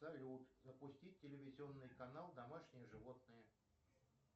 салют запустить телевизионный канал домашние животные